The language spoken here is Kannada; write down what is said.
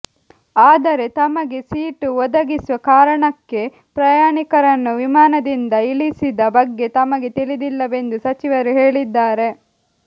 ಆದರೆ ತಮಗೆ ಸೀಟು ಒದಗಿಸುವ ಕಾರಣಕ್ಕೆ ಪ್ರಯಾಣಿಕರನ್ನು ವಿಮಾನದಿಂದ ಇಳಿಸಿದ ಬಗ್ಗೆ ತಮಗೆ ತಿಳಿದಿಲ್ಲವೆಂದು ಸಚಿವರು ಹೇಳಿದ್ದಾರೆ